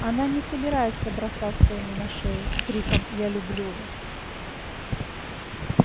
она не собирается бросаться ему на шею с криком я люблю вас